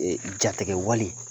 Jatigɛ wale